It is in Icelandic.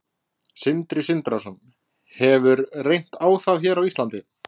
Sindri Sindrason: Hefur reynt á það hér á Íslandi?